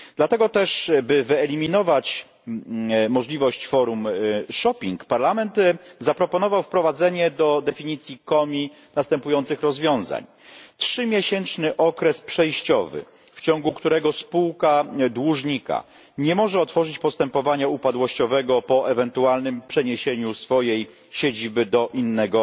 Dlatego też, by wyeliminować możliwość forum shopping Parlament zaproponował wprowadzenie do definicji COMI następujących rozwiązań trzymiesięczny okres przejściowy, w ciągu którego spółka dłużnika nie może otworzyć postępowania upadłościowego po ewentualnym przeniesieniu swojej siedziby do innego